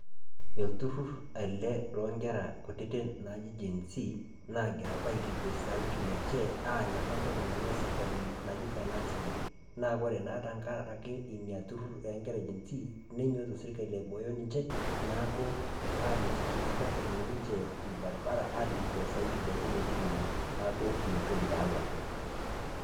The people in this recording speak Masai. Eolturrur ele loonkera kutiti naaji geensi naagira apa ailepie sauti lenche aany apa ntoki nayawua serkali naji finance bill, naa kore naa tengaraki inia turrur oenkere e geensi nenyorru serkali aibooyo ninche neaku aamitiki naapa ejing' ninche ilbarabara aalukio sauti lenche metining'i neaku inatoki taaena.